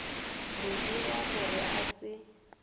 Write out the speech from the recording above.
mo dira gore a se